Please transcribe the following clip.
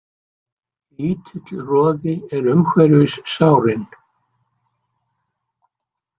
Lítill roði er umhverfis sárin.